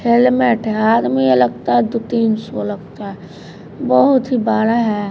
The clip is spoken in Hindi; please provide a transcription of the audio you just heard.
हेलमेट है आदमी लगता है तो तिन सो लगता है बहुत ही बड़ा है।